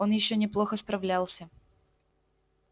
он ещё неплохо справлялся